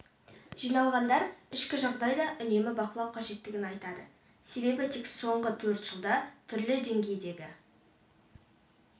жиналғандар ішкі жағдай да үнемі бақылау қажеттігін айтады себебі тек соңғы төрт жылда түрлі деңгейдегі